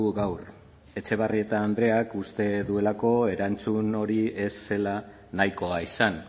gaur etxebarrieta andreak uste duelako erantzun hori ez zela nahikoa izan